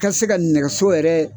Ka se ka nɛgɛso yɛrɛ